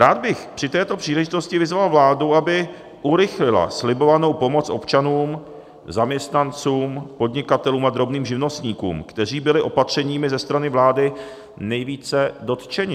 Rád bych při této příležitosti vyzval vládu, aby urychlila slibovanou pomoc občanům, zaměstnancům, podnikatelům a drobným živnostníkům, kteří byli opatřeními ze strany vlády nejvíce dotčeni.